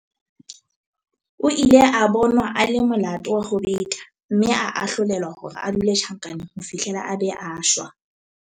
o ile a bonwa a le molato wa ho beta mme a ahlolelwa hore a dule tjhankaneng ho fihlela a be a shwa